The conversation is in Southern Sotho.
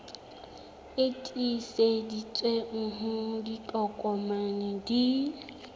e tiiseditsweng ha ditokomane di